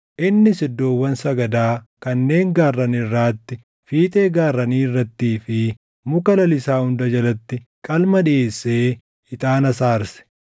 Innis iddoowwan sagadaa kanneen gaarran irraatti, fiixee gaarranii irrattii fi muka lalisaa hunda jalatti qalma dhiʼeessee, ixaanas aarse.